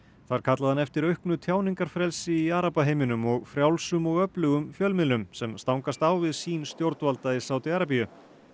þar kallaði hann eftir auknu tjáningarfrelsi í arabaheiminum og frjálsum og öflugum fjölmiðlum sem stangast á við sýn stjórnvalda í Sádi Arabíu